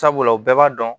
Sabula u bɛɛ b'a dɔn